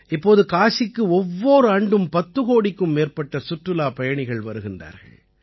இப்போது காசிக்கு ஒவ்வோர் ஆண்டும் பத்து கோடிக்கும் மேற்பட்ட சுற்றுலாப் பயணிகள் வருகிறார்கள்